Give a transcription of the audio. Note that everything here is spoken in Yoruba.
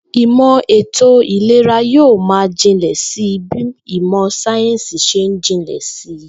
Ìmò̩ ètò ìlera yóò máa jinlè̩ si bí ìmò̩ sáyéǹsì s̩e ń jinlè̩ si